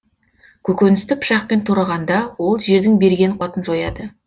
көкөністі пышақпен турағанда ол жердің берген қуатын жояды